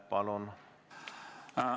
Palun!